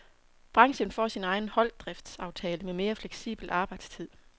Branchen får sin egen holddriftsaftale med mere fleksibel arbejdstid.